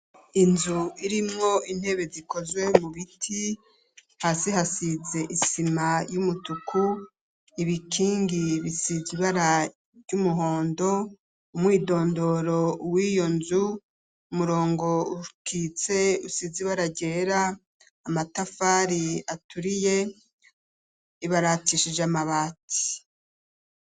Inzu irimwo intebe zikozwe mu biti hasi hasize isima y'umutuku ibikingi bisize ibara ry'umuhondo umwidondoro w'iyo nzu umurongo ukitse usize ibara ryera amatafari aturiye ibaratishije amabati.